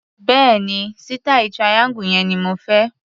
Bẹ́ẹ̀ni, sítàì triangle yẹn ni mo fẹ́.